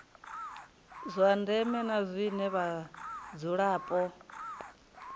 zwa ndeme na zwine vhadzulapo